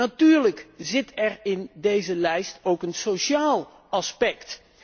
Natuurlijk zit er in deze lijst ook een sociaal aspect.